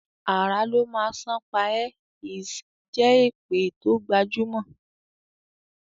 "Àrà ló má sàn pa e" is a jé èpè to gbajumo.